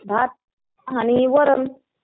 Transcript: भात आणि वरण.